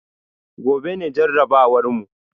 Gobe ne jarabawar mu